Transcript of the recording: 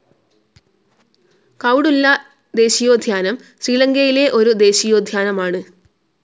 കൌഡുല്ല ദേശീയോദ്യാനം ശ്രീലങ്കയിലെ ഒരു ദേശീയോദ്യാനമാണ്